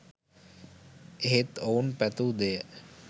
එහෙත් ඔවුන් පැතූ දෙය